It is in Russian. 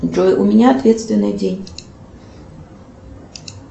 джой у меня ответственный день